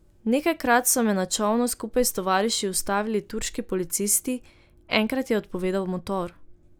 Nekajkrat so me na čolnu skupaj s tovariši ustavili turški policisti, enkrat je odpovedal motor ...